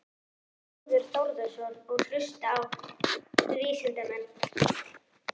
Þórður Þórðarson: Og hlusta á vísindamenn?